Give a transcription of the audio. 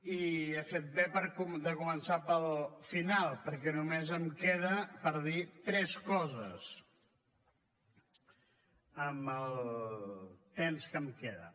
i he fet bé de començar pel final perquè només em queden per dir tres coses amb el temps que em queda